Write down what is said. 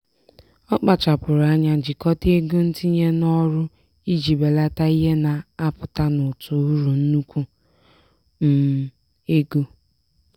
ọ kpachapụrụ anya jikọta ego ntinye n'ọrụ iji belata ihe na-apụta n'ụtụ uru nnukwu um ego.